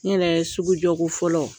N yɛrɛ sugujɔko fɔlɔ